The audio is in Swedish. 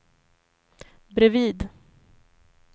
bredvid